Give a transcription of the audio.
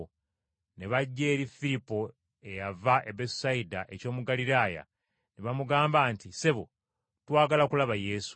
ne bajja eri Firipo eyava e Besusayida eky’omu Ggaliraaya, ne bamugamba nti, “Ssebo, twagala kulaba Yesu.”